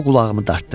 O qulağımı dartdı.